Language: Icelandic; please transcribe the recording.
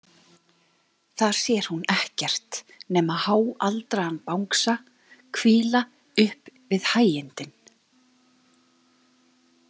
Þar sér hún ekkert nema háaldraðan bangsa hvíla upp við hægindin.